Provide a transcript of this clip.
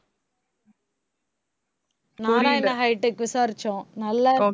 Narayana hi tech விசாரிச்சோம் நல்லாருக்கு